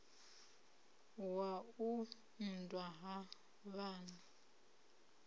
wa u unḓwa ha vhana